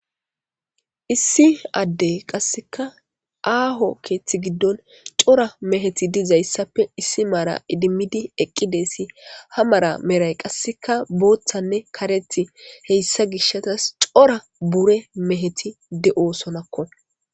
Issi addey qasseka aaho keeththi giddon cora meheti dizayssappe issi maara idimmidi eqqidessi ha mara meray qasseka booththanne kareti heyssa gishasas cora bure meheti de'osonakko.